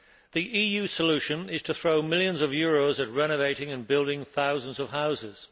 The EU solution is to throw millions of euros at renovating and building thousands of houses.